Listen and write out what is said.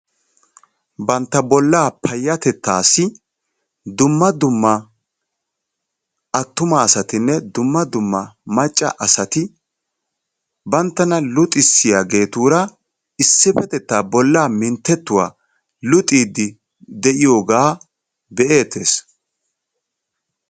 Bantta bollaa payatettaassi dumma dumma attuma asatinne dumma dumma macca asati banttana luxissiyaagetura issipetettaa bollaa mintettiidi de'iyoogaa be'ettees.